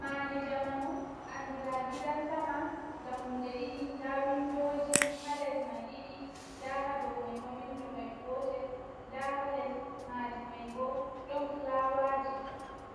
Maadi jamanu andira gidan sama dammuɗe ɗiɗi nda windoji ha les mai ɗiɗi nda hadocmai ma windo mai gotel nda ha les maji mai bo ɗon fulaawaji